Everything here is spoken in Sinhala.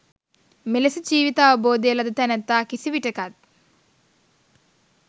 මෙලෙස ජීවිත අවබෝධය ලද තැනැත්තා කිසිවිටකත්